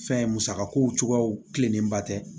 Fɛn musaka ko cogoyaw tilennenba tɛ